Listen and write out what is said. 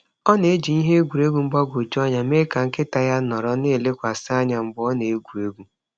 Ọ na-eji ihe egwuregwu mgbagwoju anya mee ka nkịta ya nọrọ na-elekwasị anya mgbe ọ na-egwu egwu.